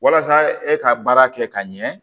Walasa e ka baara kɛ ka ɲɛ